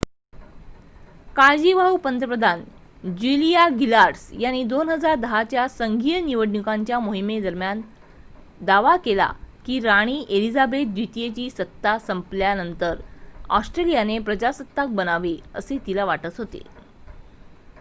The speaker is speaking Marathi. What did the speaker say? काळजीवाहू पंतप्रधान ज्युलिया गिलार्ड यांनी 2010 च्या संघीय निवडणुकीच्या मोहिमेदरम्यान दावा केला की राणी एलिझाबेथ द्वितीयची सत्ता संपल्यानंतर ऑस्ट्रेलियाने प्रजासत्ताक बनावे असे तिला वाटत होते